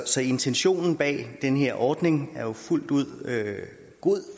så intentionen bag den her ordning er fuldt ud god